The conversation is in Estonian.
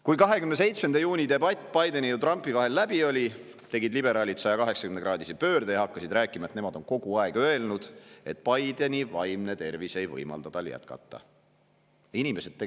Kui 27. juuni debatt Bideni ja Trumpi vahel läbi oli, tegid liberaalid 180‑kraadise pöörde ja hakkasid rääkima, et nemad on kogu aeg öelnud, et Bideni vaimne tervis ei võimalda tal jätkata.